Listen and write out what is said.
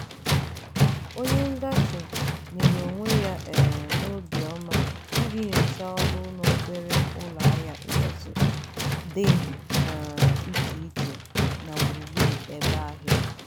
onye ngafe nyere onwe ya um n'obiọma iji nyochaa ọnụahịa n'obere ụlọahịa dị um iche iche nọ gburu gburu ebe ahịa.